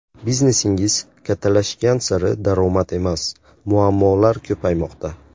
Biznesingiz kattalashgan sari daromad emas, muammolar ko‘paymoqda.